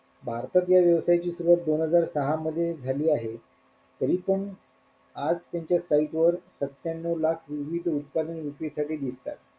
भारतात या व्यवसायाची सुरुवात दोन हजार सहा मध्ये झाली आहे तरी पण आज त्यांच्या site वर सत्त्यानव लाख विविध उत्पादने विक्री साठी घेतायत.